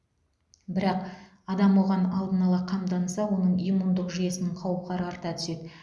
бірақ адам оған алдын ала қамданса оның иммундық жүйесінің қауқары арта түседі